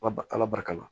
Ba ba ala barika